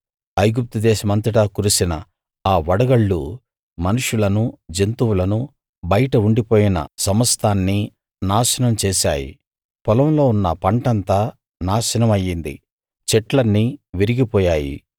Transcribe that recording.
ఐగుప్తు దేశమంతటా కురిసిన ఆ వడగళ్ళు మనుష్యులను జంతువులను బయట ఉండిపోయిన సమస్తాన్నీ నాశనం చేశాయి పొలంలో ఉన్న పంట అంతా నాశనం అయ్యింది చెట్లన్నీ విరిగిపోయాయి